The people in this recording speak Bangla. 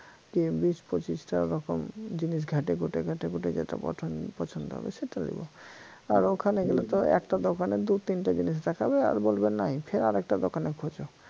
কি বিশ পঁচিশটা রকম জিনিস ঘাইটেঘুটে ঘাইটেঘুটে যেটা পছ~পছন্দ হবে সেটা নিব আর ওখানে গেলে তো একটা দোকানে দুতিনটা জিনিস দেখাবে আর বলবে নাই আরেকটা দোকানে খোঁজ